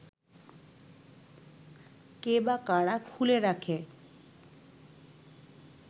কে বা কারা খুলে রাখে